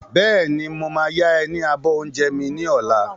Bẹ́ẹ̀ni, mo máa ya ẹ ní abọ́ oúnjẹ mi ni ọ̀la.